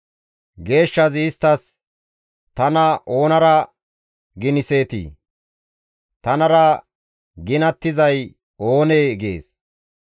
Geeshshazi isttas, «Tana oonara giniseetii? Tanara ginattizay oonee?» gees.